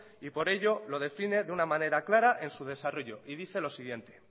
y por ello lo define de una manera clara en su desarrollo y dice lo siguiente